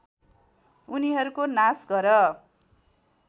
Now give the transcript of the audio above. उनीहरूको नाश गर